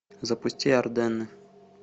запусти арденны